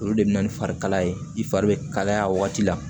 Olu de bɛ na ni fari kalaya ye i fari bɛ kalaya a waati la